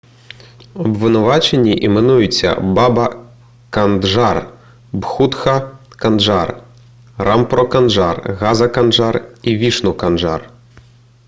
обвинувачені іменуються баба канджар бхутха канджар рампро канджар газа канджар і вішну канджар